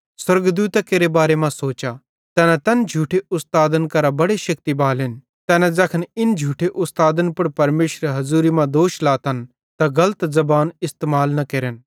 स्वर्गदूतां केरे बारे मां सोचा तैना तैन झूठे उस्तादन करां बड़े शेक्ति बालेन तैना ज़ैखन इन झूठे उस्तादन पुड़ परमेशरेरी हज़ूरी मां दोष लातन त गलत ज़बान इस्तेमाल न केरतन